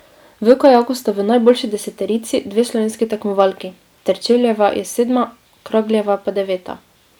V kajaku sta v najboljši deseterici dve slovenski tekmovalki, Terčeljeva je sedma, Kragljeva pa deveta.